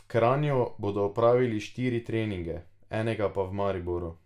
V Kranju bodo opravili štiri treninge, enega pa v Mariboru.